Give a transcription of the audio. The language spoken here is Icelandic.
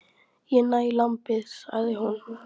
Ég næ í lambið, sagði hún.